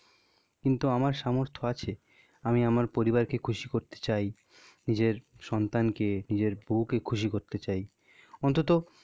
কিন্তু আমার সামর্থ্য আছে। আমি আমার পরিবারকে খুশি করতে চাই. নিজের সন্তানকে নিজের বউকে খুশি করতে চাই. অন্তত,